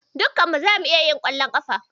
Dukkan mu zamu iya yin ƙwallon ƙafa.